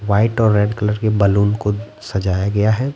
White और red colour के balloon को सजाया गया है।